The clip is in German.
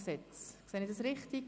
Sehe ich dies richtig?